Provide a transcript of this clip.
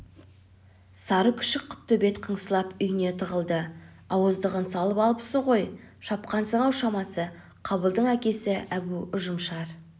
сары күшік құттөбет қыңсылап үйіне тығылды ауыздығын салып алыпсың ғой шапқансың-ау шамасы қабылдың әкесі әбу ұжымшар